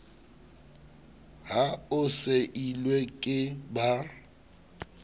ha o seilwe ke ba